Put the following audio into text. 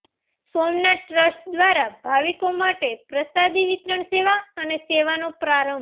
Somnath trust દ્વારા ભાવિકો માટે પ્રસાદી વિતરણ સેવા સેવાનો પ્રારંભ